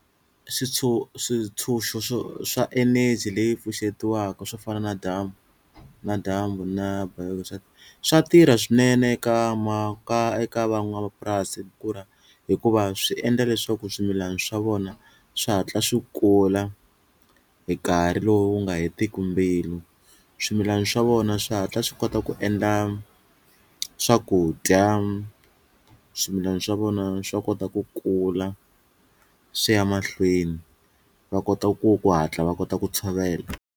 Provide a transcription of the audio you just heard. switshunxo swa eneji leyi pfuxetiwaka swo fana na dyambu na dyambu na swa tirha swinene eka eka van'wamapurasi hikuva swi endla leswaku swimilana swa vona swi hatla swi kula hi nkarhi lowu nga hetiki mbilu, swimilana swa vona swi hatla swi kota ku endla swakudya swimilana swa vona swa kota ku kula swi ya mahlweni va kota ku ku hatla va kota ku tshovela.